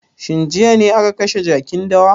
Shin jiya ne aka kashe jakin dawa?